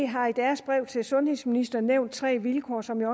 har i deres brev til sundhedsministeren nævnt tre vilkår som jeg